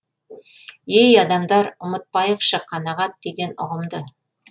ей адамдар ұмытпайықшы қанағат деген ұғымды